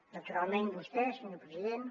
naturalment vostè senyor president